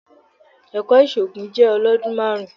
Ẹ̀kọ́ ìṣògùn jẹ́ ọlọ́dún márùn-ún.